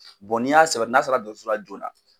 ni y'a sɔrɔ n'a sera dɔso la joona